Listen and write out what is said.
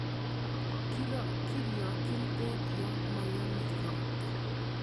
Kirokyin beek yon moyome ropta.